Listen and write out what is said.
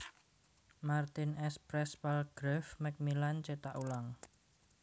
Martin s Press Palgrave Macmillan cetak ulang